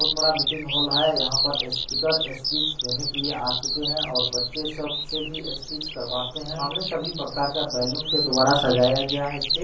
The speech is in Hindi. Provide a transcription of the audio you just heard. बहुत बड़ा मीटिंग हॉल है| यहाँ पर स्पीकर स्पीच देने के लिए आ चुके हैं और बच्चे सब से भी स्पीच करवाते हैं| सामने सभी प्रकार का बैलून के द्वारा सजाया गया है स्टेज |